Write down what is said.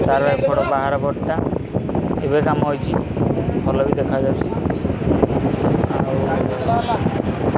ତାର ଏପଟ ପାହାଡ ପଟଟା ଏବେ କାମ ହେଇଚି ଭଲ ବି ଦେଖାଯାଉଛି ଆଉ --